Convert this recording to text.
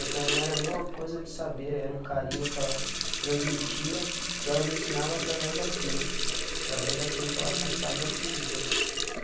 Então, não era nenhuma coisa de saber, era um carinho que ela transmitia, que ela me ensinava através daquilo, através daquilo que ela passava e eu aprendia.